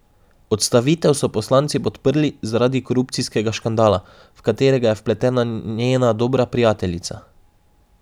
Odstavitev so poslanci podprli zaradi korupcijskega škandala, v katerega je vpletena njena dobra prijateljica.